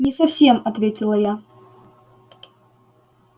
не совсем ответила я